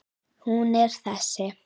Hún er þessi